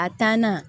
A taa na